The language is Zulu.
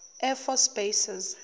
air force bases